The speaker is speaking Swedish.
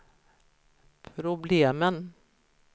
problemen